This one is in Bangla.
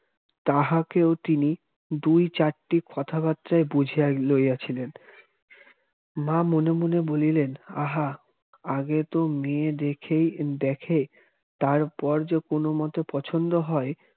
তাহাকেও তিনি দুই-চারটি কথাবার্তায় বুঝিয়া লইয়াছিলেন মা মনে মনে বলিলেন আহা আগে তো মেয়ে দেখেই দেখে তারপর যা কোনো মতে পছন্দ হয়